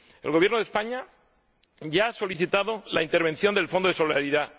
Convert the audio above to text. El Gobierno de España ya ha solicitado la intervención del Fondo de Solidaridad.